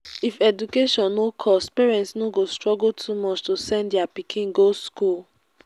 if education no cost parents no go struggle too much to send their pikin go school